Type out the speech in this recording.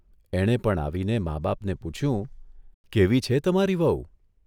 એણે પણ આવીને મા બાપને પૂછ્યું, કેવી છે તમારી વહુ?